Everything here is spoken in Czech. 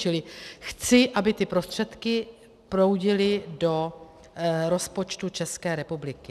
Čili chci, aby ty prostředky proudily do rozpočtu České republiky.